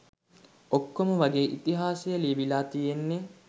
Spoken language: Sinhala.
ඔක්කොම වගේ ඉතිහාසය ලියවිලා තියෙන්නේ